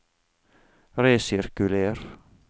resirkuler